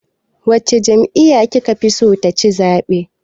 Wace jami'yya ki ka fi so ta ci zaɓe.